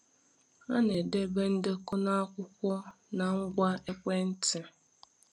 A na-edebe ndekọ na akwụkwọ na ngwa ekwentị.